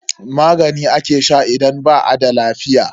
Magani ake sha idan ba a da lafiya.